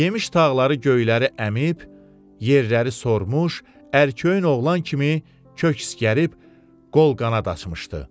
Yemiş tağları göyləri əmib, yerləri sormuş, ərköyün oğlan kimi kök isqərib qol-qanad açmışdı.